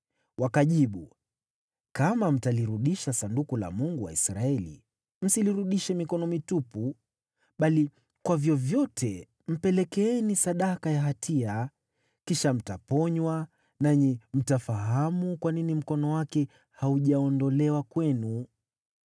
Wakajibu, “Kama mtalirudisha Sanduku la Mungu wa Israeli, msilirudishe mikono mitupu bali kwa vyovyote mpelekeeni sadaka ya hatia. Kisha mtaponywa, nanyi mtafahamu kwa nini mkono wake haujaondolewa kwenu.”